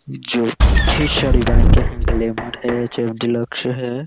जो ग्लैमर है डीलक्स है ।